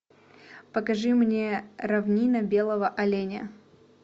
покажи мне равнина белого оленя